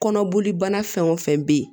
Kɔnɔboli bana fɛn o fɛn bɛ yen